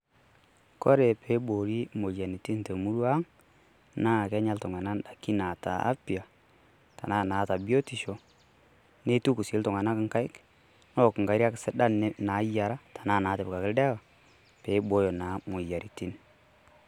Kore peibooni imoyiaritin te murua ang' naa Kenyaa iltung'anak daiki naata afia naa naata biotisho neituku sii iltung'anak inkaik neak inkariak sidan naayiara tenaa naatipikaki ildawa pee ibooyo naa imoyiaritin.